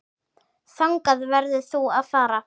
Þangað verður þú að fara.